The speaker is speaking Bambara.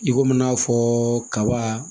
I komi n'a fɔ kaba